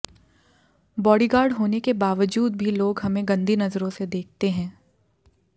bodyguard होने के बावजूद भी लोग हमें गंदी नजरों से देखते हैं